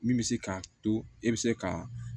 Min bɛ se k'a to e bɛ se ka